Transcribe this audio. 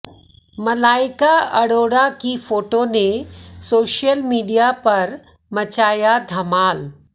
मलाइका अरोड़ा की फोटो ने social media पर मचाया धमाल